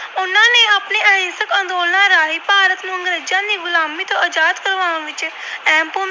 ਅੰਗਰੇਜਾਂ ਦੀ ਗੁਲਾਮੀ ਤੋਂ ਆਜਾਦ ਕਰਵਾਉਣ ਵਿੱਚ ਅਹਿਮ ਭੂਮਿਕਾ